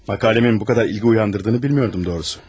Məqaləmin bu qədər ilgi oyandırdığını bilmirdim, doğrusu.